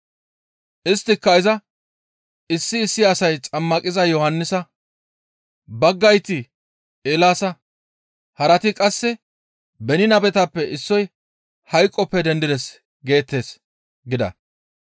Isttika izas, «Issi issi asay Xammaqiza Yohannisa; baggayti Eelaasa; harati qasse beni nabetappe issoy hayqoppe dendides geettes» gida.